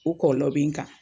O kɔɔlɔ be n kan.